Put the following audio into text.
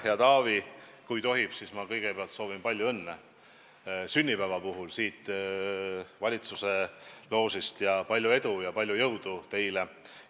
Hea Taavi, kui tohib, siis ma kõigepealt soovin siit valitsuse loožist palju õnne sünnipäeva puhul ja palju edu ja palju jõudu teile!